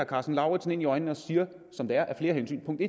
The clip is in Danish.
karsten lauritzen ind i øjnene og siger det som det er af flere hensyn punkt